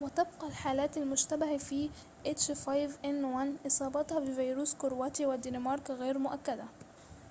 وتبقى الحالات المشتبه في إصابتها بفيروس h5n1 في كرواتيا والدنمارك غير مؤكدة